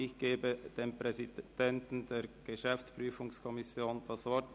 Ich gebe dem Präsidenten der GPK das Wort.